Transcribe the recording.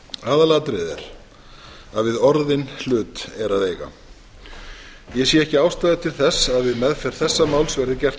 aðalatriðið er að við orðinn hlut er að eiga ég sé ekki ástæðu til þess að við meðferð þessa máls verði gert að